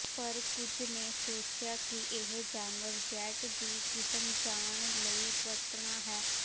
ਪਰ ਕੁਝ ਨੇ ਸੋਚਿਆ ਕਿ ਇਹ ਜਾਨਵਰ ਜੈੱਟ ਦੀ ਕਿਸਮ ਜਾਣ ਲਈ ਵਰਤਣਾ ਹੈ